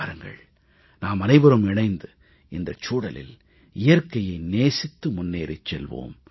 வாருங்கள் நாமனைவரும் இணைந்து இந்த சூழலில் இயற்கையை நேசித்து முன்னேறிச் செல்வோம்